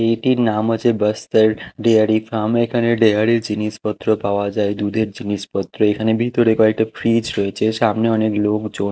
এইটির নাম হচ্ছে বস্তাল্ড ডেয়ারি ফার্ম এখানে ডেয়ারি জিনিসপত্র পাওয়া যায় দুধের জিনিসপত্র এখানে ভিতরে কয়েকটা ফ্রিজ রয়েছে সামনে অনেক লোকজন।